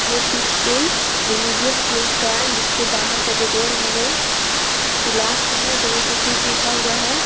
यह पिक कोई religious place का है इसके बाहर का जो डोर है वो ग्लास का है और दोनों तरफ पुश लिखा हुआ है।